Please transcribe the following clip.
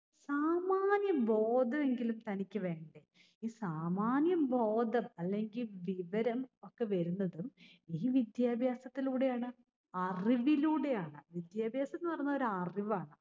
സാമാന്യ ബോധമെങ്കിലും തനിക്ക് വേണ്ടേ. ഈ സാമാന്യ ബോധം അല്ലെങ്ങിൽ വിവരം ഒക്കെ വരുന്നതും ഈ വിദ്യാഭ്യാസത്തിലൂടെയാണ്. അറിവിലൂടെയാണ്. വിദ്യാഭ്യാസം എന്ന് പറഞ്ഞ ഒരു അറിവാണ്.